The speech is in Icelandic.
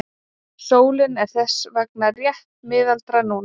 Sólin er þess vegna rétt miðaldra núna.